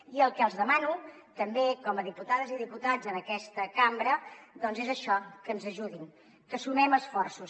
i el que els demano també com a diputades i diputats en aquesta cambra doncs és això que ens ajudin que sumem esforços